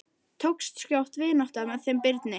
Tókst skjótt vinátta með þeim Birni.